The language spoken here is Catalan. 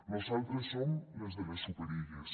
nosaltres som les de les superilles